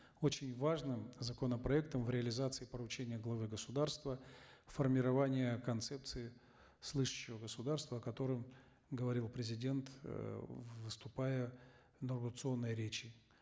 очень важным законопроектом в реализации поручения главы государства формирование концепции слышащего государства о котором говорил президент эээ выступая в иннагурационной речи